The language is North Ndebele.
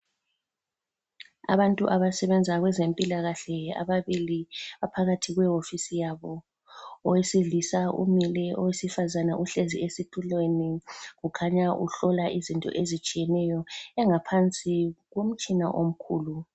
Abantu abasebenza kwezempilakahle ababili baphakathi kwewofisi yabo. Owesilisa umile owesifazana uhlezi esitulweni. Kukhanya uhlola izinto ezitshiyeneyo engaphansi komtshina omkhulu.